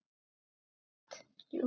Ekki satt?